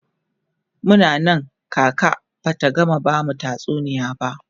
Muna Nan kaka Bata gama bamu tatsuniya ba